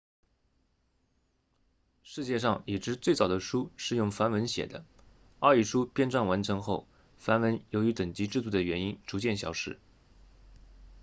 世界上已知最早的书是用梵文写的奥义书编撰完成后梵文由于等级制度的原因逐渐消失